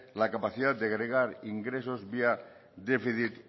la capacidad de agregar ingresos vía déficit